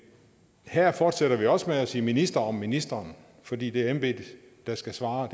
her fortsætter vi også med at sige minister og ministeren fordi det er embedet der skal svare